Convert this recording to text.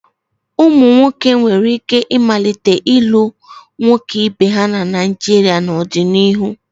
Ụmụ nwoke nwere ike ịmalite ịlụ nwoke ibe ha na Naijiria n'ọdịnihu.